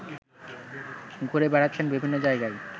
ঘুরে বেড়াচ্ছেন বিভিন্ন জায়গায়